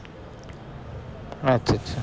আচ্ছা আচ্ছা